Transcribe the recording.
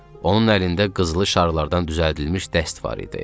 Onun əlində qızılı şarlardan düzəldilmiş dəst var idi.